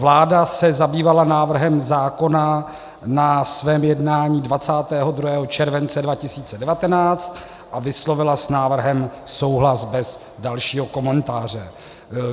Vláda se zabývala návrhem zákona na svém jednání 22. července 2019 a vyslovila s návrhem souhlas bez dalšího komentáře.